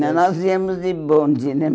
Nós íamos de bonde né.